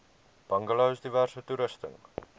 bungalows diverse toerusting